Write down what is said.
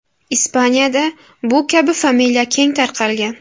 Ispaniyada bu kabi familiya keng tarqalgan.